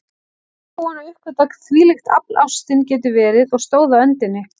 Nýbúin að uppgötva hvílíkt afl ástin getur verið, og stóð á öndinni.